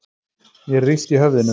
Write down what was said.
Mér er illt í höfðinu.